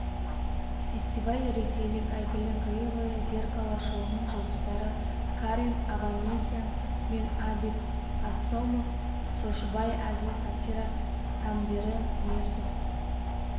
фестиваль ресейлік әйгілі кривое зеркало шоуының жұлдыздары карен аванесян мен абит асомов жоошбай әзіл-сатира тандемі мирзо